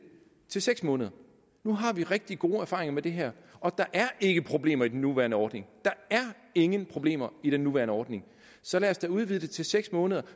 til seks måneder nu har vi rigtig gode erfaringer med det her og der er ikke problemer i den nuværende ordning der er ingen problemer i den nuværende ordning så lad os da udvide det til seks måneder